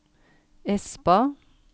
Espa